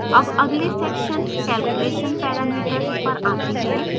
अब अगले sectioncalculation parameters पर आते हैं